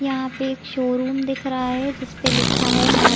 यहाँ पर एक शोरूम दिख रहा है जिस पे लिखा है मा --